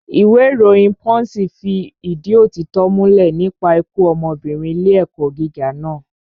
Ìwé ìròyìn pọ́ǹṣì fi ìdí òtítọ́ múlẹ̀ nípa ikú ọmọbìnrin ilé ẹ̀kọ́ gíga naa